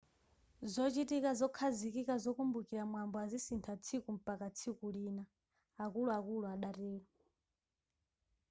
zochitika zokhazikika zokumbukira mwambo azisintha tsiku mpaka tsiku lina akuluakulu adatero